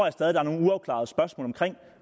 at der er nogle uafklarede spørgsmål omkring